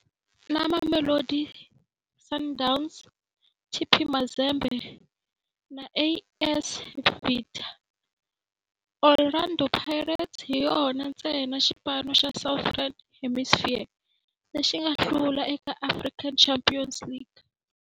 Na Mamelodi Sundowns, TP Mazembe na AS Vita, Orlando Pirates hi yona ntsena xipano xa Southern Hemisphere lexi nga hlula eka African Champions League.